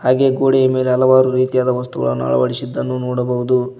ಹೀಗೆ ಗೋಡೆಯ ಮೇಲೆ ಹಲವಾರು ರೀತಿಯಾದ ವಸ್ತುಗಳನ್ನು ಅಳವಡಿಸಿದ್ದನ್ನು ನೋಡಬಹುದು.